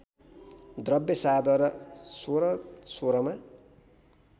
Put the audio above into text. द्रव्य शाहद्वारा १६१६मा